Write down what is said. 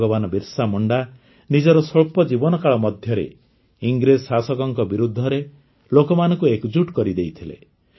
ଭଗବାନ ବିର୍ସା ମୁଣ୍ଡା ନିଜର ସ୍ୱଳ୍ପ ଜୀବନକାଳ ମଧ୍ୟରେ ଇଂରେଜ ଶାସକଙ୍କ ବିରୁଦ୍ଧରେ ଲୋକମାନଙ୍କୁ ଏକଜୁଟ କରିଦେଇଥିଲେ